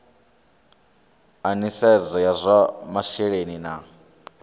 a nisedzo ya zwa masheleni